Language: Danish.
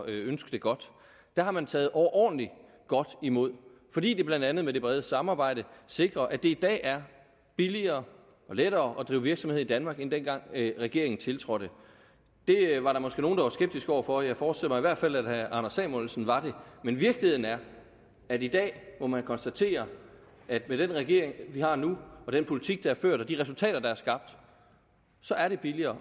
ønsker det godt det har man taget overordentlig godt imod fordi det blandt andet med det brede samarbejde sikrer at det i dag er billigere og lettere at drive virksomhed i danmark end dengang regeringen tiltrådte det var der måske nogle der var skeptiske over for jeg forestiller mig i hvert fald at herre anders samuelsen var det men virkeligheden er at i dag må man konstatere at med den regering vi har nu og den politik der er ført og de resultater der er skabt så er det billigere